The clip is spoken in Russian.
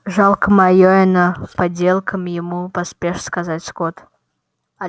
жалко майора но поделом ему поспешно сказал скотт